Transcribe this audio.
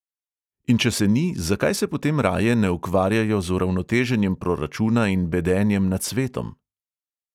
In če se ni, zakaj se potem raje ne ukvarjajo z uravnoteženjem proračuna in bedenjem nad svetom?